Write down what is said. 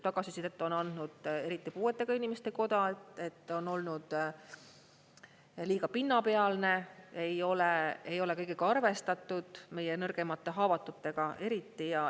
Tagasisidet on andnud eriti puuetega inimeste koda, et on olnud liiga pinnapealne, ei ole kõigega arvestatud, meie nõrgemate, haavatutega eriti.